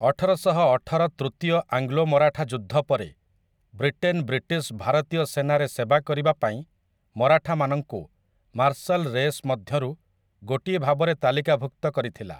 ଅଠରଶହ ଅଠର ତୃତୀୟ ଆଙ୍ଗ୍ଲୋ ମରାଠା ଯୁଦ୍ଧ ପରେ, ବ୍ରିଟେନ ବ୍ରିଟିଶ ଭାରତୀୟ ସେନାରେ ସେବା କରିବା ପାଇଁ ମାରାଠାମାନଙ୍କୁ ମାର୍ଶଲ ରେସ୍ ମଧ୍ୟରୁ ଗୋଟିଏ ଭାବରେ ତାଲିକାଭୁକ୍ତ କରିଥିଲା ।